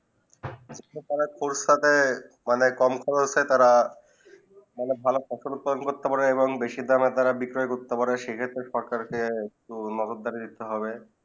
পোর্সাকে কম করছে তারা ফসল উৎপাদন করতে পারে এবং বেশি দামে তারা বিক্রয়ে করতে পারে সেই ক্ষেত্রে সরকার কে মদত দিতে হবে